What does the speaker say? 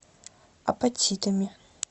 апатитами